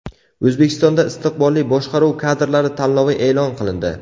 O‘zbekistonda istiqbolli boshqaruv kadrlari tanlovi e’lon qilindi.